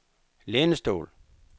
lænestol